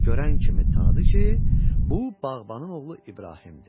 Görən kimi tanıdı ki, bu bağbanın oğlu İbrahimdir.